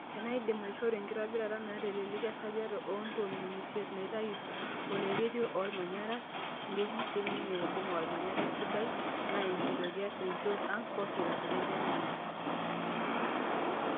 "Tenaa idim aishoru enkitobira naata eleleki esajata oo ntomini isiet neitayu oloireruo lolmanyara nridim siininye aibunga olmanyara esidai naa enkitoria to nchot ang' pokiraa," Etejo ninye.